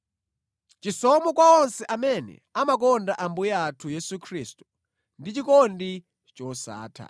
Chisomo kwa onse amene amakonda Ambuye athu Yesu Khristu ndi chikondi chosatha.